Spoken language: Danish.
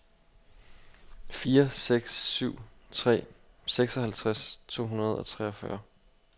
fire seks syv tre seksoghalvtreds to hundrede og treogfyrre